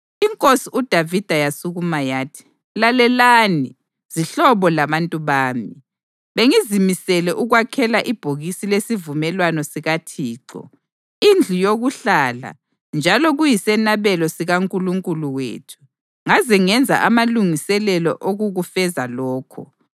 Inkosi uDavida yasukuma yathi: “Lalelani, zihlobo labantu bami, bengizimisele ukwakhela ibhokisi lesivumelwano sikaThixo, indlu yokuhlala njalo kuyisenabelo sikaNkulunkulu wethu, ngaze ngenza amalungiselelo okukufeza lokho.